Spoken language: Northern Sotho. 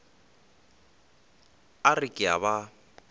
a re ke a ba